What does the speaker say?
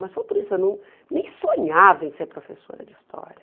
Mas foi por isso eu não nem sonhava em ser professora de história.